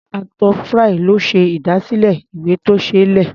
Arthur Fry ló ṣe ìdásílẹ̀ ìwé-tó-ṣeé-lẹ̀.